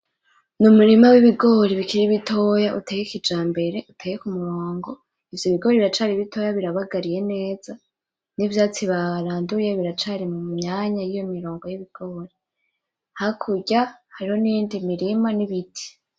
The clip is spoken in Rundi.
N’umurima w’ibigori bikiri bitoya biteye kijambere biteye k’umurongo ivyo ibigori biracari bitoya birabagariye neza nivyatsi baranduye biracari mumyanya yiyo mirongo y’ibihori hakurya hariyo niyindi mirima n’ibiti.